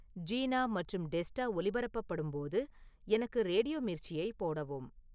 ஜீனா மற்றும் டெஸ்டா ஒலிபரப்பப்படும்போது எனக்கு ரேடியோ மிர்ச்சியை போடவும்